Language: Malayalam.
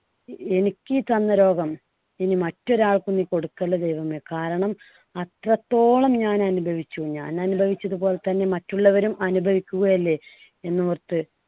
എനിക്ക് ഈ തന്ന ഈ രോഗം ഇനി മറ്റൊരാൾക്കും നീ കൊടുക്കല്ലേ ദൈവമേ കാരണം അത്രത്തോളം ഞാൻ അനുഭവിച്ചു. ഞാൻ അനുഭവിച്ചത് പോലെ തന്നെ മറ്റുള്ളവരും അനുഭവിക്കുകയല്ലേ എന്നോർത്ത്